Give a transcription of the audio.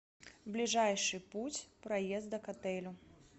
ближайший путь проезда к отелю